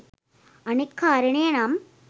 අනෙක් කාරණය නම්